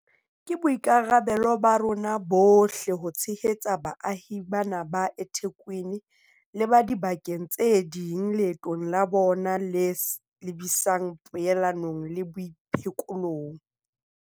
Ke boikarabelo ba rona bohle ho tshehetsa baahi bana ba eThekwini le ba diba keng tse ding leetong la bona le lebisang poelanong le boiphekolong.